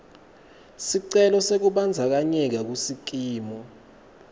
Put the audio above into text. sicelo sekubandzakanyeka kusikimu